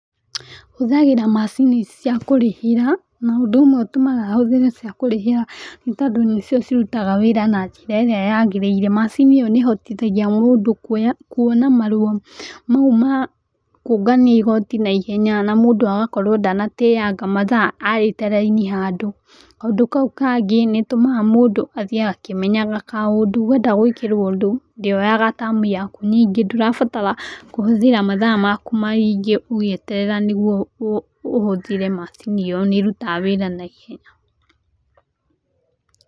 Hũthagĩra macini cia kũrĩhĩra na ũndũ ũmwe ũtũmaga hũthĩre cia kũrĩhĩra nĩ tondũ nĩcio cĩrũtaga wĩra na njĩra ĩrĩa yagĩrĩire macini ĩyo nĩ ĩhotithagia mũndũ kũona marũa mau ma kũngania igoti na ihenya na mũndũ agakorwo ndanateanga mathaa arĩte raini handũ ,kaũndũ kau kangĩ nĩ ĩtũmaga mũndũ athiĩ akĩmenyaga kaũndũ wenda gwĩkĩrio ũndũ ndĩoyaga Time yaku nyingi ndũrabatara kũhũthira mathaa makũ maingĩ ũgĩetererera nĩgũo ũhũthĩre macini ĩyo nĩ ĩrũtaga wĩra na ihenya.